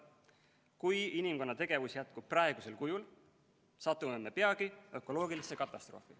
Kui inimkonna tegevus jätkub praegusel kujul, satume me peagi ökoloogilisse katastroofi.